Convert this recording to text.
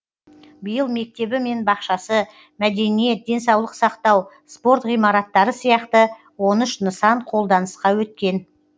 биыл мектебі мен бақшасы мәдениет денсаулық сақтау спорт ғимараттары сияқты он үш нысан қолданысқа өткен